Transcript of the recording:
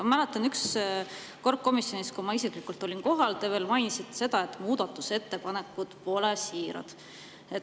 Ma mäletan, et kui ma kord olin komisjonis isiklikult kohal, te mainisite, et muudatusettepanekud pole siirad.